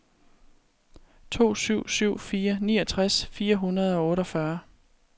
to syv syv fire niogtres fire hundrede og otteogfyrre